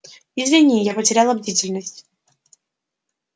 извини я потеряла бдительность